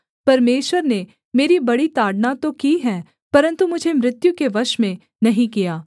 परमेश्वर ने मेरी बड़ी ताड़ना तो की है परन्तु मुझे मृत्यु के वश में नहीं किया